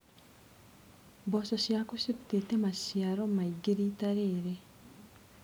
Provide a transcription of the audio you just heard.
Mboco ciaku cirutĩte maciaro maingĩ rita rĩrĩ.